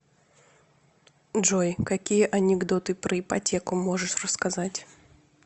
джой какие анекдоты про ипотеку можешь рассказать